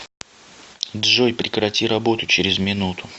джой прекрати работу через минуту